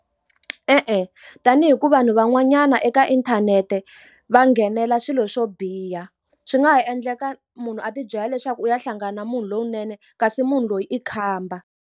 E-e tanihi ku vanhu van'wanyana eka inthanete va nghenela swilo swo biha, swi nga ha endleka munhu a ti byela leswaku u ya hlangana na munhu lowunene kasi munhu loyi i khamba.